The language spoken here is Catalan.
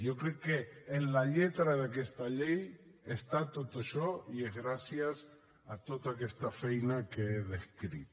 jo crec que en la lletra d’aquesta llei està tot això i és gràcies a tota aquesta feina que he descrit